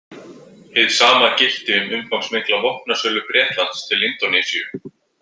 Hið sama gilti um umfangsmikla vopnasölu Bretlands til Indónesíu.